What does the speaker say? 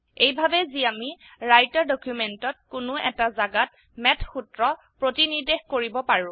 এইভাবে যি আমি ৰাইটাৰ ডকিউমেন্টত কোনো এটা জাগাত ম্যাথ সূত্ৰ প্ৰতিনিৰ্দেশ কৰিব পাৰো